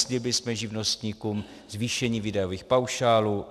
Slíbili jsme živnostníkům zvýšení výdajových paušálů.